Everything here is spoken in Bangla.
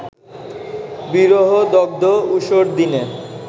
বিরহদগ্ধ ঊষর দিনে